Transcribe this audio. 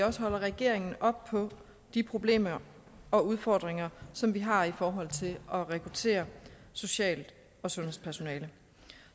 også holder regeringen op på de problemer og udfordringer som vi har i forhold til at rekruttere social og sundhedspersonale